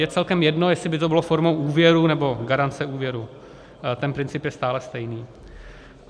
Je celkem jedno, jestli by to bylo formou úvěru, nebo garance úvěru, ten princip je stále stejný.